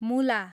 मुला